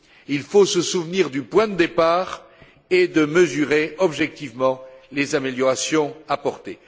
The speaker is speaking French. Il faut se souvenir du point de départ et mesurer objectivement les améliorations apportées.